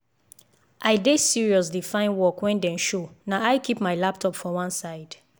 i dey serious dey find work when dem show na i keep my laptop for one side